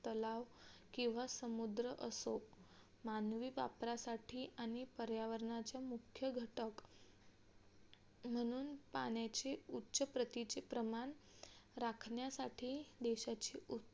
तलाव किंवा समुद्र असो मानवी वापरासाठी आणि पर्यावरणाचा मुख्य घटक म्हणून पाण्याच उच्च प्रतीची प्रमाण राखण्यासाठी देशाची